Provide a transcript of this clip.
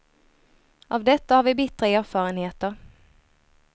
Av detta har vi bittra erfarenheter.